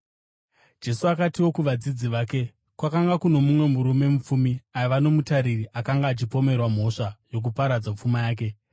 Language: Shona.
Jesu akatiwo kuvadzidzi vake, “Kwakanga kuno mumwe murume mupfumi aiva nomutariri akanga achipomerwa mhosva yokuparadza pfuma yake.